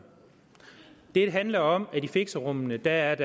det handler om at i fixerummene er der